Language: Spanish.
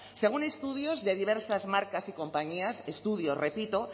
según estudios de diversas marcas y compañías estudios repito